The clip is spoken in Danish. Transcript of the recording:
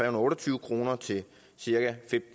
og otte og tyve kroner til cirka